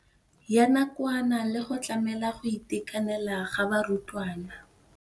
ya nakwana le go tlamela go itekanela ga barutwana.